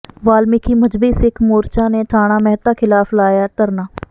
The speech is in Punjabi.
ਵਾਲਮੀਕਿ ਮਜ਼੍ਹਬੀ ਸਿੱਖ ਮੋਰਚਾ ਨੇ ਥਾਣਾ ਮਹਿਤਾ ਖਿਲਾਫ ਲਾਇਆ ਧਰਨਾ